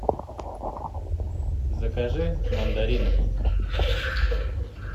закажи мандарины